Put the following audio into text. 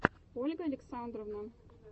ольга александрова